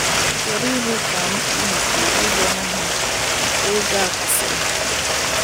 Ị̀ chọrọ ịhụ ka mpụ nke ịgba ohu nke oge a kwụsịrị?